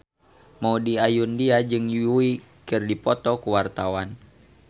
Maudy Ayunda jeung Yui keur dipoto ku wartawan